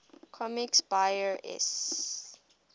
comics buyer s